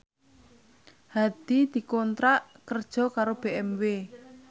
Hadi dikontrak kerja karo BMW